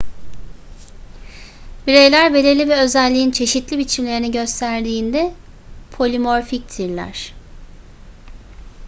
bireyler belirli bir özelliğin çeşitli biçimlerini gösterdiğinde polimorfiktirler